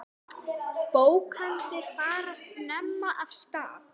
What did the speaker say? Bókanir fara snemma af stað.